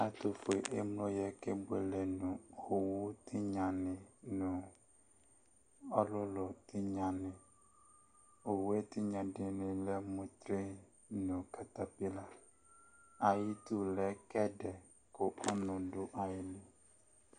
Ɛtʋfue emlo yɛ kebuele nʋ owu tɩnyanɩ nʋ ɔlʋlʋ tɩnyanɩ Owu tɩnya dɩnɩ lɛ mʋ tren nʋ katapɩla ayidu lɛ kɛdɛ kʋ ɔnʋ dʋ ayili